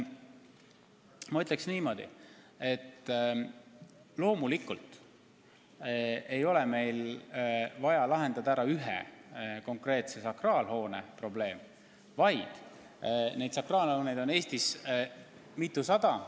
Ma ütleksin niimoodi, et loomulikult ei ole meil vaja lahendada ära ühe konkreetse sakraalhoone probleem, vaid neid sakraalhooneid on Eestis mitusada.